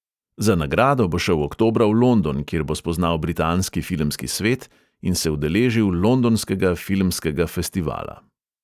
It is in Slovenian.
Za nagrado bo šel oktobra v london, kjer bo spoznal britanski filmski svet in se udeležil londonskega filmskega festivala.